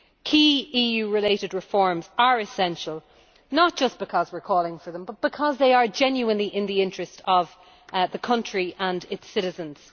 Key EU related reforms are essential, not just because we are calling for them, but because they are genuinely in the interest of the country and its citizens.